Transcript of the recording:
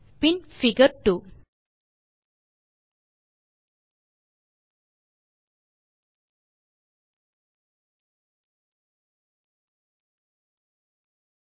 பின் figure 2